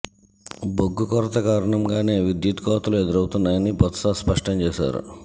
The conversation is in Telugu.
బొగ్గు కొరత కారణంగానే విద్యుత్ కొతలు ఎదురవుతున్నాయని బొత్స స్పష్టం చేశారు